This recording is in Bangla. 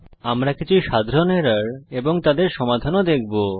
আমরা কিছু সাধারণ এরর এবং তাদের সমাধান ও দেখব